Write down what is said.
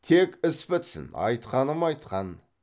тек іс бітсін айтқаным айтқан